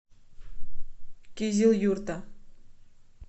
кизилюрта